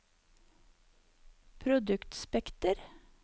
produktspekter